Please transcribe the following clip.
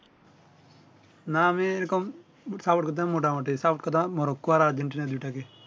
না আমি এই রকম Support করতাম মোটা মুটি Support করতাম মরক্কো আর আর্জেন্টিনার দুই টাকে